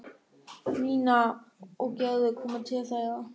Nína og Gerður komu til þeirra.